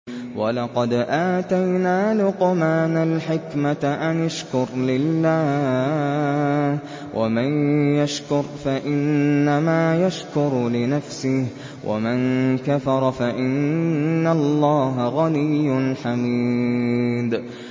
وَلَقَدْ آتَيْنَا لُقْمَانَ الْحِكْمَةَ أَنِ اشْكُرْ لِلَّهِ ۚ وَمَن يَشْكُرْ فَإِنَّمَا يَشْكُرُ لِنَفْسِهِ ۖ وَمَن كَفَرَ فَإِنَّ اللَّهَ غَنِيٌّ حَمِيدٌ